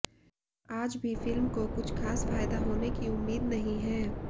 आज भी फिल्म को कुछ खास फायदा होने की उम्मीद नहीं है